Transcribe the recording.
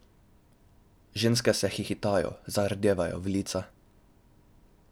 Ženske se hihitajo, zardevajo v lica.